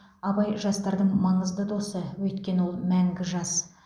абай жастардың маңызды досы өйткені ол мәңгі жас